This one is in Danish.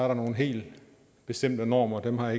der nogle helt bestemte normer dem har